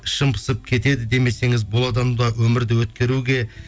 ішім пысып кетеді демесеңіз бұл адамды өмірді өткеруге